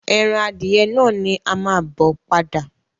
Ẹran adìẹ náà ni a máa bo padà.